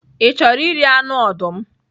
Ị chọrọ iri anụ ọdụm?